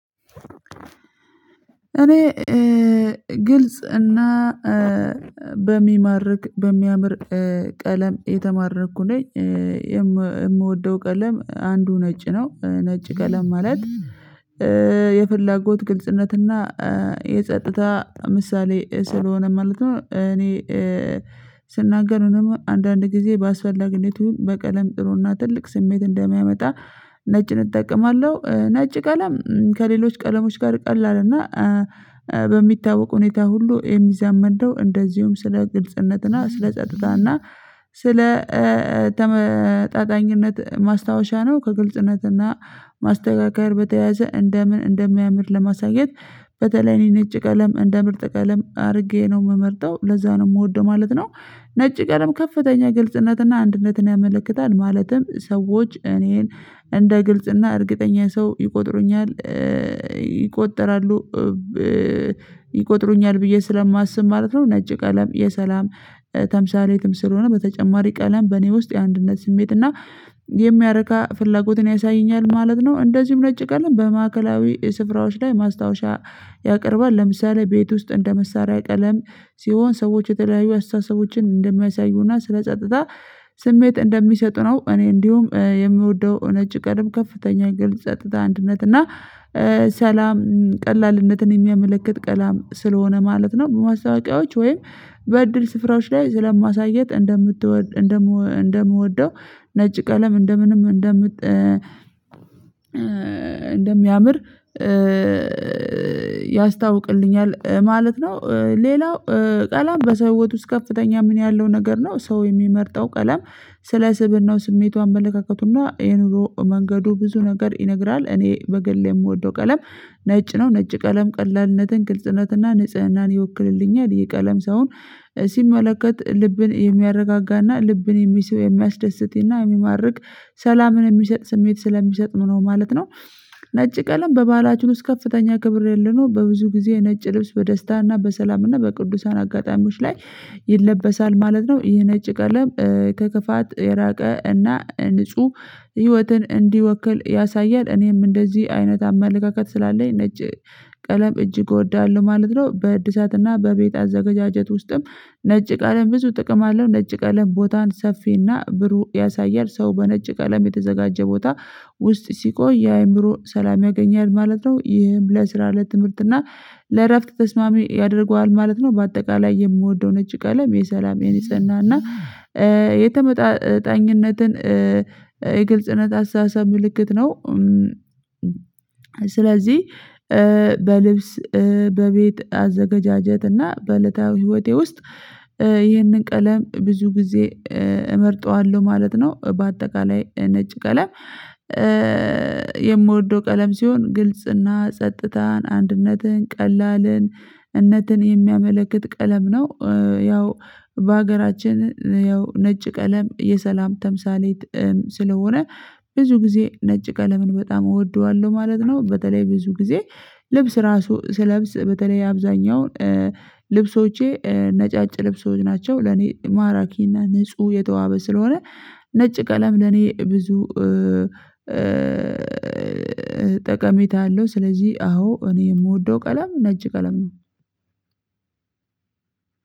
እኔ ግልጽ እና በሚማርክ በሚያምር ቀለም የተማረኩ ነኝ የምወደው ቀለም አንዱ ነጭ ነው ነጭ ቀለም ማለት የፍላጎት ግልጽነት እና የጸጥታ ምሳሌ ስለሆነ ማለት ነው። እኔ ስናገር ነው ደግሞ አንዳንድ ጊዜ ባስፈላጊቱ በቀለም ጥሩና ትልቅ ስሜት እንደሚያመጣ ነጭን እጠቀማለሁ ነጭ ቀለም ከሌሎች ቀለሞች ጋር ቀላል እና በሚታወቅ ሁኔታ ሁሉ የሚዛመድ ነው። እንደዚሁም ስለ ግልጽነት እና ስለ ጸጥታና ስለ ተመጣጣኝነት ማስታወሻ ነው ከግልጽነትና ማስተካከል በተያያዘ እንደምን እንደሚያምር ለማሳየት በተለይ እኔ ነጭ ቀለም እንደ ምርጥ ቀለም አድርጌ ነው የምመርጠው ለዛ ነው የምወደው ማለት ነው። ነጭ ቀለም ከፍተኛ ግልጽነትና አንድነትን ያመለክታል ማለትም ሰዎች እኔን እንደ ግልጽ እና እርግጠኛ ሰው ይቆጥሩኛል ይቆጠራሉ ይቆጥሩኛል ብዬ ስለማስብ ማለት ነው። ነጭ ቀለም የሰላም ተምሳሌትም ስለሆነ በተጨማሪ ቀለም በእኔ ውስጥ የአንድነት ስሜት እና የሚያረካ ፍላጎትን ያሳየኛል ማለት ነው። እንደዚሁም ነጭ ቀለም በማዕከላዊ ስፍራዎች ላይ ማስታወሻ ያቀርባል ለምሳሌ ቤት ውስጥ እንደ መሳሪያ ቀለም ሲሆን ሰዎች የተለያዩ አስተሳሰቦችን እንደማይሳዩና ስለጸጥታ ስሜት እንደሚሰጡ ነው። እኔ እንዲሁም የምወደው ነጭ ቀለም ከፍተኛ ግልጽ ጸጥታ አንድነት እና ሰላም ቀላልነትን የሚያመለክት ቀላም ስለሆነ ማለት ነው። በማስታወቂያዎች ወይም በእድል ስፍራዎች ላይ ስለማሳየት እንደምትወድ እንደምወደው ነጭ ቀለም እንደምንም እንደምጠ እንደሚያምር ያስታውቅልኛል ማለት ነው። ሌላው ቀለም በሰው ውስጥ ከፍተኛ ምን ያለው ነገር ነው ሰው የሚመርጠው ቀላም ስለ ስብእናው ስሜቱ አመለካከቱና ይህንን መንገዱ ብዙ ነገር ይነግራል። እኔ በግል የምወደው ቀለም ነጭ ነው። ነጭ ቀለም ቀላልነትን ግልጽነትና ንጽህናን ይወክልልኛል ይሄ ቀለም ሳይሆን ሲመለከት ልብን የሚያረጋጋና ልብን የሚስብ የሚያስደስትና የሚማርክ ሰላምን የሚሰጥ ስሜት ስለሚሰጥ ነው ማለት ነው። ነጭ ቀለም በባህላችን ውስጥ ከፍተኛ ክብር ያለው ነው በብዙ ጊዜ ነጭ ልብስ በደስታና በሰላምና በቅዱሳን አጋጣሚዎች ላይ ይለበሳል ማለት ነው። ይሄ ነጭ ቀለም ከክፋት የራቀ እና ንጹህ ህይወትን እንዲወክል ያሳያል እኔም እንደዚህ አይነት አመለካከት ስላለኝ ነጭ ቀለም እጅግ እወዳለሁ ማለት ነው። በእድሳትና በቤት አዘገጃጀት ውስጥም ነጭ ቀለም ብዙ ጥቅም አለው ነጭ ቀለም ቦታን ሰፊና ብሩህ ያሳያል ሰው በነጭ ቀለም የተዘጋጀ ቦታ ውስጥ ሲቆይ የአእምሮ ሰላም ያገኛል ማለት ነው ይህም ለስራ ለትምህርት እና ለእረፍት ተስማሚ ያደርገዋል ማለት ነው። በአጠቃላይ የምወደው ነጭ ቀለም የሰላም የንጽህና እና የተመጣጣኝነትን የግልጽነት አስተሳሰብ ምልክት ነው። ስለዚህ በልብስ በቤት አዘገጃጀትና በእለታዊ ህይወቴ ውስጥ ይህንን ቀለም ብዙ ጊዜ እመርጠዋለሁ ማለት ነው። በአጠቃላይ ነጭ ቀለም የምወደው ቀለም ሲሆን ግልጽና ጸጥታን አንድነትን ቀላልን ነትን የሚያመለክት ቀለም ነው። ያው በሀገራችን ያው ነጭ ቀለም የሰላም ተምሳሌት ስለሆነ ብዙ ጊዜ ነጭ ቀለምን በጣም እወደዋለሁ ማለት ነው። በተለይ ብዙ ጊዜ ልብስ ራሱ ስለብስ በተለይ አብዛኛውን ልብሶቼ ነጫጭ ልብሶች ናቸው። ለኔ ማራኪ እና ንጹህ የተዋበ ስለሆነ ነጭ ቀለም ለኔ ብዙ ጠቀሜታ አለው። ስለዚህ አዎ እኔ የምወደው ቀለም ነጭ ቀለም ነው።